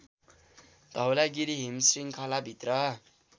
धौलागिरी हिमश्रृङ्खला भित्र